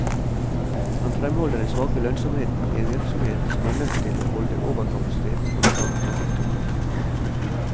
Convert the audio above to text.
Han fremholder den svake lønnsomheten i en virksomhet som er nødt til å holde overkapasitet for å ta trafikktoppene.